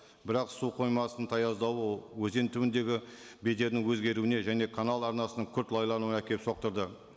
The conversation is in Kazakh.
бірақ су қоймасының таяздауы өзен түбіндегі бедерінің өзгеруіне және канал арнасының күрт лайлануына әкеліп соқтырды